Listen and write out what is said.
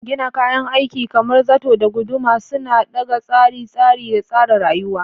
Gina kayan aikin kamar zato da guduma suna ɗaga tsari, tsari da tsara rayuwa.